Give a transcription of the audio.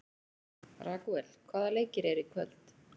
Ragúel, hvaða leikir eru í kvöld?